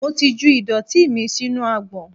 Mo ti ju ìdọ̀tí mi sínú agbọ̀n.